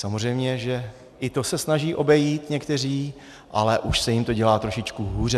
Samozřejmě že i to se snaží obejít někteří, ale už se jim to dělá trošičku hůře.